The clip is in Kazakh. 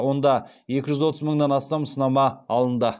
онда екі жүз отыз мыңнан астам сынама алынды